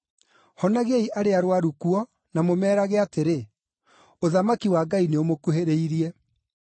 Honagiai arĩa arũaru kuo, na mũmeerage atĩrĩ, ‘Ũthamaki wa Ngai nĩũmũkuhĩrĩirie.’